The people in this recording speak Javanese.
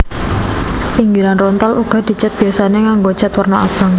Pinggiran rontal uga dicèt biyasané nganggo cèt werna abang